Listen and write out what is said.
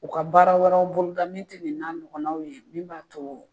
U ka baara wɛrɛw boloda min tɛ nin n'a ɲɔgɔnnaw ye min b'a to